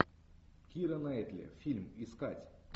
кира найтли фильм искать